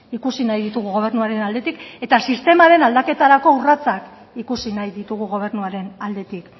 ikusi nahi ditugu gobernuaren aldetik eta sistemaren aldaketarako urratsak ikusi nahi ditugu gobernuaren aldetik